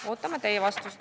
" Ootame teie vastust.